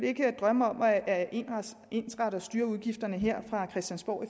ikke drømme om at ensrette og styre kommunernes udgifter her fra christiansborg